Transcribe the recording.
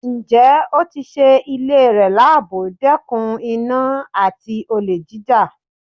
Ǹjẹ́ ó tí sé ilé rẹ̀ labò, dẹkùn iná àti olè jíjà?